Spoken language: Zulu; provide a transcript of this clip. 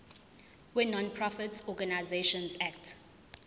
wenonprofit organisations act